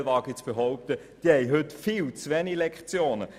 Vielleicht teilen die jungen Gäste auf der Tribüne diese Einschätzung.